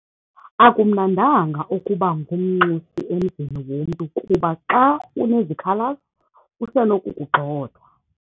Akumnandanga ukuba ngumnxusi emzini womntu kuba xa unezikhalazo usenokukugxotha.